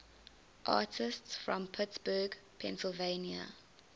artists from pittsburgh pennsylvania